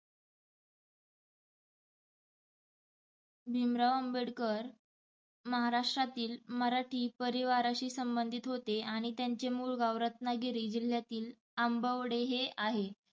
भिमराव आंबेडकर महाराष्ट्रातील मराठी परिवाराशी संबधीत होते आणि त्यांचे मुळ गांव रत्नागिरी जिल्हयातील अंबवडे हे आहे,